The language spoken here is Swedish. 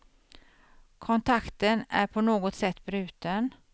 Kontakten är på något sätt bruten.